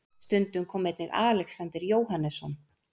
Stundum kom einnig Alexander Jóhannesson.